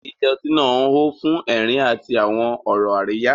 Ilé ọtí náà hó fún ẹ̀rín àti àwọn ọ̀rọ̀ àríyá.